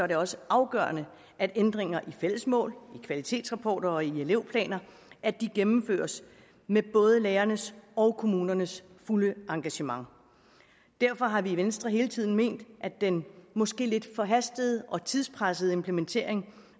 det også afgørende at ændringer i de fælles mål kvalitetsrapporter og elevplaner gennemføres med både lærernes og kommunernes fulde engagement derfor har vi i venstre hele tiden ment at den måske lidt forhastede og tidspressede implementering